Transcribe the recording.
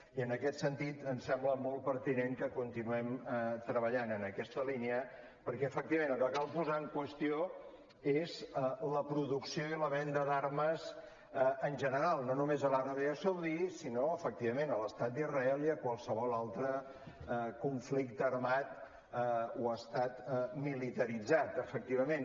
i en aquest sentit ens sembla molt pertinent que continuem treballant en aquesta línia perquè efectivament el que cal posar en qüestió és la producció i la venda d’armes en general no només a l’aràbia saudita sinó efectivament a l’estat d’israel i a qualsevol altre conflicte armat o estat militaritzat efectivament